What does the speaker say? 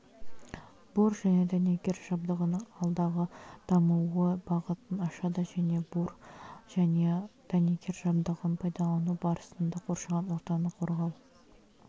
бур және дәнекер жабдығының алдағы дамуы бағытын ашады және бур және дәнекер жабдығын пайдалану барысында қоршаған ортаны қорғау